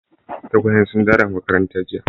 Tagwayen sun dawo daga makaranta jiya.